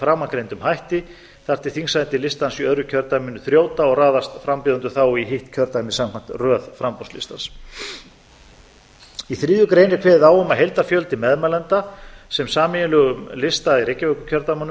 framangreindum hætti þar til þingsæti listans í öðru kjördæminu þrjóta og raðast frambjóðendur þá í hitt kjördæmið samkvæmt röð framboðslistans í þriðju grein er kveðið á um að heildarfjöldi meðmælenda sem sameiginlegum lista í reykjavíkurkjördæmum